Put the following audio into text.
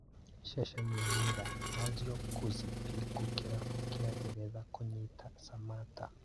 Ceceni ya mirror, Lazio Kuzipiku kĩrabu kĩa Ngeretha kũnyita Samatta